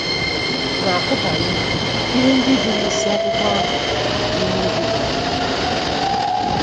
na - akụbanye ihe ndị dị n’isiakwụkwọ ahụ n’ime obi mmadụ.